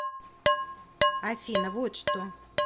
афина вот что